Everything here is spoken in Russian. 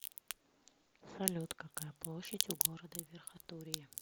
салют какая площадь у города верхотурье